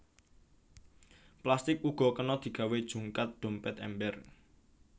Plastik uga kena digawé jungkat dompét ember